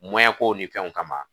kow ni fɛnw kama